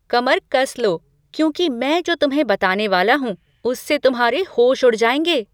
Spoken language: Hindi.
कमर कस लो, क्योंकि मैं जो तुम्हें बताने वाला हूँ उससे तुम्हारे होश उड़ जाएंगे।